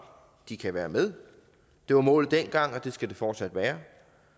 de kan være med det var målet dengang og det skal det fortsat være